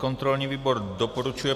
Kontrolní výbor doporučuje